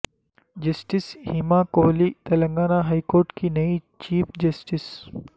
justice Hima Kohli Telangana high court کی نئی chief justice